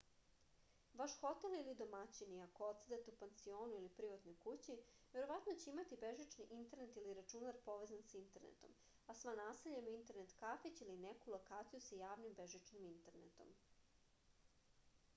ваш хотел или домаћини ако одседате у пансиону или приватној кући вероватно ће имати бежични интернет или рачунар повезан са интернетом а сва насеља имају интернет кафић или неку локацију са јавним бежичним интернетом